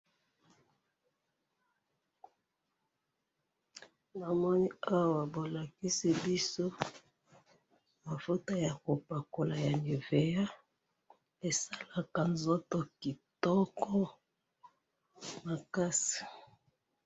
na moni awa balakisi biso mafuta ya ko pakola ya nivea , esalaka nzoto kitoko makasi.